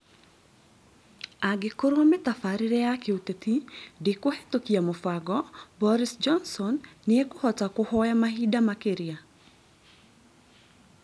Angĩkorwo mĩtabarĩre ya kĩũteti ndĩkũhetũkia mũbango, Boris Johnson nĩekũhota kũhoya mahinda makĩria?